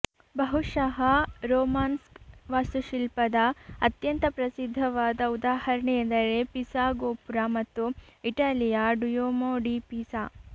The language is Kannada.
ಬಹುಶಃ ರೋಮಾನ್ಸ್ಕ್ ವಾಸ್ತುಶಿಲ್ಪದ ಅತ್ಯಂತ ಪ್ರಸಿದ್ಧವಾದ ಉದಾಹರಣೆ ಎಂದರೆ ಪಿಸಾ ಗೋಪುರ ಮತ್ತು ಇಟಲಿಯ ಡುಯೋಮೊ ಡಿ ಪಿಸಾ